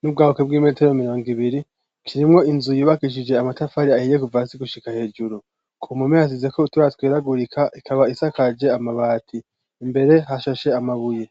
n'ubwaguke bw'imetero mirongo ibiri, kirimwo inzu yubakishije amatafari ahiye kuva hasi gushika hejuru, ku mpome yasizeko utubara tweragurika, ikaba isakaje amabati, imbere hashashe amabuye.